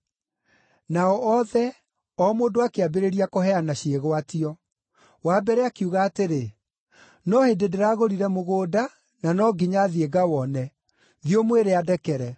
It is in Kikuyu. “Nao othe, o mũndũ akĩambĩrĩria kũheana ciĩgwatio. Wa mbere akiuga atĩrĩ, ‘No hĩndĩ ndĩragũrire mũgũnda na no nginya thiĩ ngawone. Thiĩ ũmwĩre andekere.’